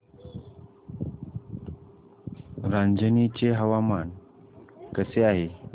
रांझणी चे हवामान कसे आहे